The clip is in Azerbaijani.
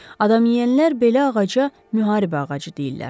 Adamyeyənlər belə ağaca müharibə ağacı deyirlər.